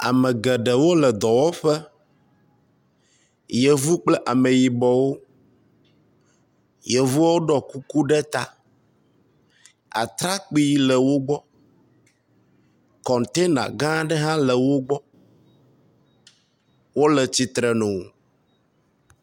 Ame geɖewo le dɔwɔƒe. yevu kple ameyibɔwo. Yevuawo ɖɔ kuku ɖe ta. Atrakpi le wo gbɔ. Kɔntena gã aɖe hã le wo gbɔ. Wo le tsitre nu.